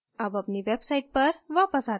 अब अपनी website पर वापस आते हैं